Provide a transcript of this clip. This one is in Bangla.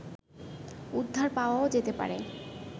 উদ্ধার পাওয়াও যেতে পারে